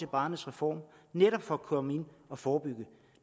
barnets reform netop for at komme ind og forebygge